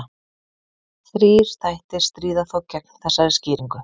Þrír þættir stríða þó gegn þessari skýringu.